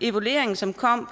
evalueringen som kom